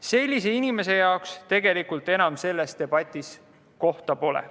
Sellise inimese jaoks selles debatis tegelikult enam kohta pole.